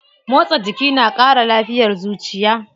Motsa jiki na kara lafiyar zuciya.